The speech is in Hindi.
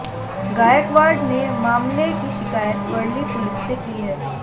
गायकवाड ने मामले की शिकायत वरली पुलिस से की है